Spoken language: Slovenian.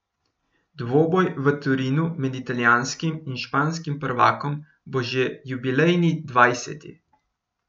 Dvoboj v Torinu med italijanskim in španskim prvakom bo že jubilejni dvajseti.